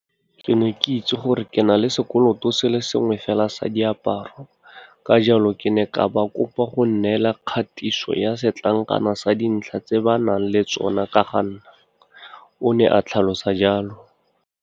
Ke ne ke itse gore ke na le sekoloto se le sengwe fela sa diaparo, ka jalo ke ne ka ba kopa go nnela kgatiso ya setlankana sa dintlha tse ba nang le tsona ka ga nna, o ne a tlhalosa jalo.